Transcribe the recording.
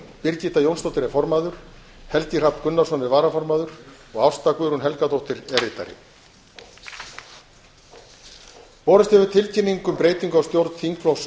birgitta jónsdóttir er formaður helgi hrafn gunnarsson er varaformaður og ásta guðrún helgadóttir er ritari borist hefur tilkynning um breytingu á stjórn þingflokks